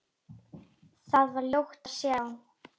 Þar var ljótt að sjá.